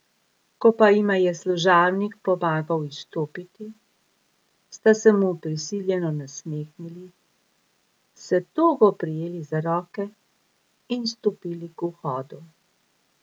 Ko pa jima je služabnik pomagal izstopiti, sta se mu prisiljeno nasmehnili, se togo prijeli za roke in stopili k vhodu.